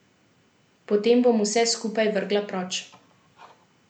Potem bom vse skupaj vrgla proč.